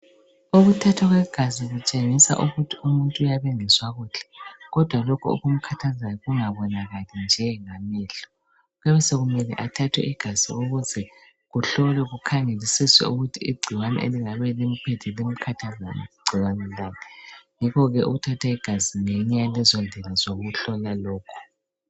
Ukuthathwa kwegazi kutshengisa ukuthi umuntu uyabe engezwa kuhle kodwa lokhu okumkhathazayo kungabonakali njengamehlo, kuyabe sokumele athathwe igazi ukuze kuhlolwe kukhangelisiswe ukuthi igcikwane elingabe limphethe limkhathazayo ligcikwane lani yikho ke ukuthatha igazi ngeyinye yalezo ndlela zokuhlola lokho.